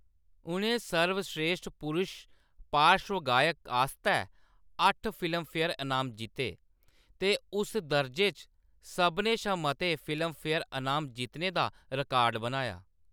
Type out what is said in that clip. उʼनें सर्वस्रेश्ठ पुरुश पार्श्वगायक आस्तै अट्ठ फिल्मफेयर इनाम जित्ते ते उस दर्जे च सभनें शा मते फिल्मफेयर इनाम जित्तने दा रिकार्ड बनाया।